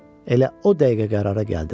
Elə o dəqiqə qərara gəldim.